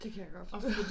Det kan jeg godt forstå